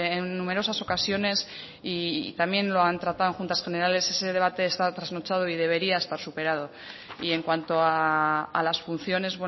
en numerosas ocasiones y también lo han tratado en juntas generales ese debate está trasnochado y debería estar superado y en cuanto a las funciones